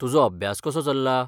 तुजो अभ्यास कसो चल्ला?